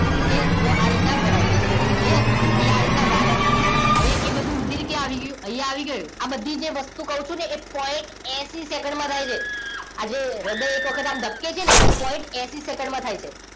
Okay જુઓ આ રીતના ભરાઈ ગયું clear અહીંયા આ રીતના વાલ હશે હવે એ બધું રુધિર ક્યાં આવી ગયું અહીંયા આવી ગયું. આ બધી જ જે વસ્તુ કહું છું ને એ point એસી સેકન્ડ માં થાય છે આજે હૃદય એક વખત આમ ધબકે છે ને એ point એસી સેકન્ડમાં થાય છે